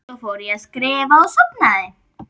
Svo fór ég að skrifa og sofnaði.